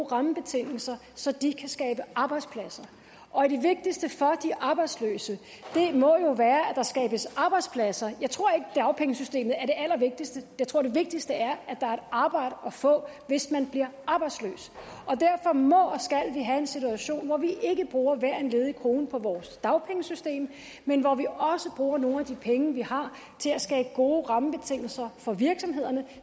rammebetingelser så de kan skabe arbejdspladser og det vigtigste for de arbejdsløse må jo være at der skabes arbejdspladser jeg tror ikke dagpengesystemet er det allervigtigste jeg tror det vigtigste er at der er et arbejde at få hvis man bliver arbejdsløs derfor må og vi have en situation hvor vi ikke bruger hver en ledig krone på vores dagpengesystem men hvor vi også bruger nogle af de penge vi har til at skabe gode rammebetingelser for virksomhederne